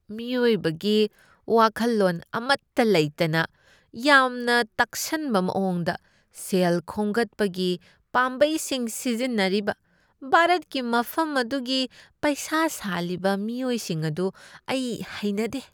ꯃꯤꯑꯣꯏꯕꯒꯤ ꯋꯥꯈꯜꯂꯣꯟ ꯑꯃꯠꯇ ꯂꯩꯇꯅ ꯌꯥꯝꯅ ꯇꯛꯁꯟꯕ ꯃꯥꯋꯣꯡꯗ ꯁꯦꯜ ꯈꯣꯝꯒꯠꯄꯒꯤ ꯄꯥꯝꯕꯩꯁꯤꯡ ꯁꯤꯖꯤꯟꯅꯔꯤꯕ ꯚꯥꯔꯠꯀꯤ ꯃꯐꯝ ꯑꯗꯨꯒꯤ ꯄꯩꯁꯥ ꯁꯥꯜꯂꯤꯕ ꯃꯤꯑꯣꯏꯁꯤꯡ ꯑꯗꯨ ꯑꯩ ꯍꯩꯅꯗꯦ ꯫